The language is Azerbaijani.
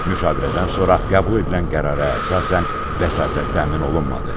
Müşavirədən sonra qəbul edilən qərara əsasən vəsatət təmin olunmadı.